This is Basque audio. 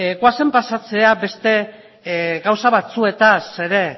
goazen pasatzera beste gauza batzuetaz ere